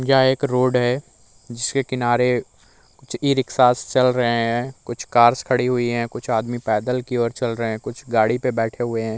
यह एक रोड है जिसके किनारे कुछ इ रिक्शास चल रहें हैं। कुछ कार्स खड़ी हुई हैं। कुछ आदमी पैदल की ओर चल रहे हैं। कुछ गाड़ी पे बैठे हुए हैं।